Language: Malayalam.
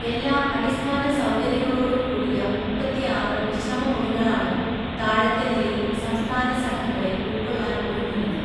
എല്ലാ അടിസ്ഥാന സൗകര്യങ്ങളോടും കൂടിയ മുപ്പത്തിയാറ് വിശ്രമമുറികളാണ് താഴത്തെ നിലയിൽ സംസ്ഥാന സംഘങ്ങളെ ഉൾക്കൊള്ളാൻ ഒരുങ്ങുന്നത്.